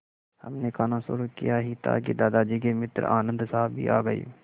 हमने खाना शुरू किया ही था कि दादाजी के मित्र आनन्द साहब भी आ गए